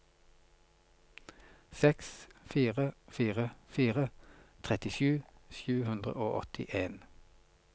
seks fire fire fire trettisju sju hundre og åttien